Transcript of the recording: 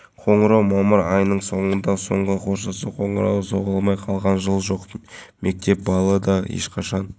бұл регламентке сәйкес балалар алаңдарын қолданысқа беру талаптары қатал болады яғни жауапты мекеменың алаңдарды орнату және